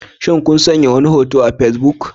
Shin kun sanya wani hoto a Facebook?